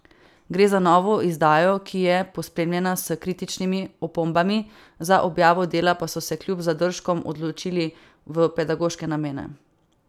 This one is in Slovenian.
Gre za novo izdajo, ki je pospremljena s kritičnimi opombami, za objavo dela pa so se kljub zadržkom odločili v pedagoške namene.